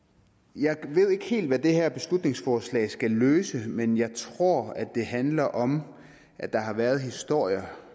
jeg ved ikke helt hvad det her beslutningsforslag skal løse men jeg tror det handler om at der har været historier